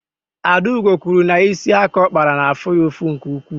Adaugo kwuru na isi aka ọ kpara na-afụ ya ụfụ nke ukwuu.